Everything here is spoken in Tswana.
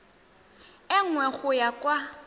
e nngwe go ya kwa